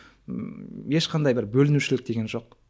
ммм ешқандай бір бөлінушілік деген жоқ